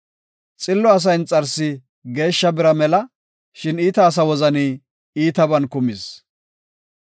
Xillo asa inxarsi geeshsha bira mela; shin iita asa wozani iitaban kumis.